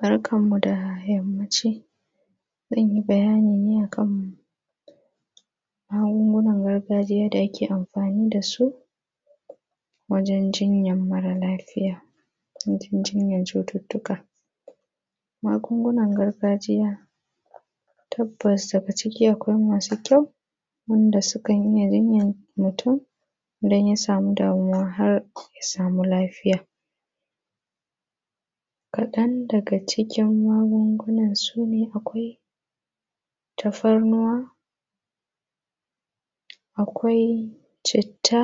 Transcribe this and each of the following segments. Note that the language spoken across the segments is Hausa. Barkanmu da yammaci. Zan yi bayani ne a kan magungunan gargajiya da ake amfani da su, wajen jinyar mara lafiya, wajen jinyar cututtuka. Magungunan gargajiya tabbas daga ciki akwai masu kyau, wanda sukan iya jinyar mutum idan ya samu damuwa har ya samu lafiya. Kaɗan daga cikin magungunan su ne akwai tafarnuwa; akwai citta;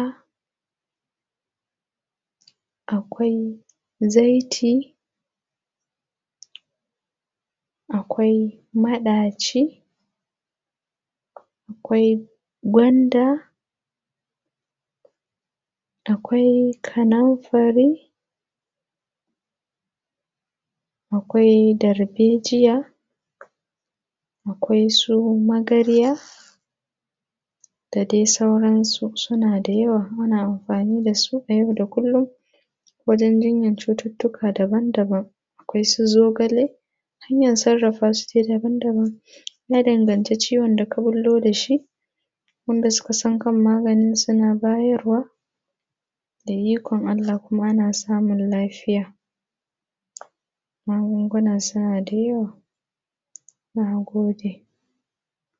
akwai zaiti; akwai maɗaci; akwai gwanda; akwai kanumfari; akwai darbejiya; akwai su magarya, da dai sauransu. Suna da yawa muna amfani da su a yau da kullum, wajen jinyar cututtuka daban-daban. Akwai su zogale, hanyar sarrafa su dai daban-daban. Ya danganci ciwon da ka ɓullo da shi, wanda suka san kan maganin suna bayarwa, da ikon Allah kuma ana samun lafiya. Magungunan suna da yawa. Na gode.